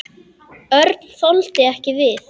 Örn þoldi ekki við.